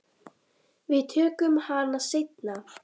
Við tökum hana seinna.